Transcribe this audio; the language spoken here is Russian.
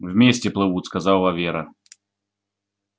вместе плывут сказала вера